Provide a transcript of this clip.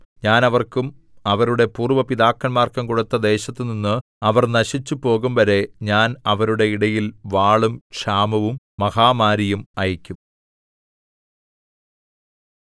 ഞാൻ അവർക്കും അവരുടെ പൂര്‍വ്വ പിതാക്കന്മാർക്കും കൊടുത്ത ദേശത്തുനിന്ന് അവർ നശിച്ചുപോകുംവരെ ഞാൻ അവരുടെ ഇടയിൽ വാളും ക്ഷാമവും മഹാമാരിയും അയയ്ക്കും